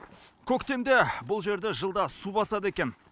көктемде бұл жерді жылда су басады екен